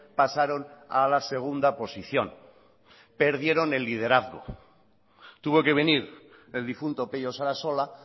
pasaron a la segunda posición perdieron el liderazgo tuvo que venir el difunto pello sarasola